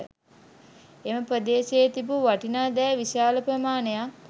එම ප්‍රදේශයේ තිබූ වටිනා දෑ විශාල ප්‍රමාණයක්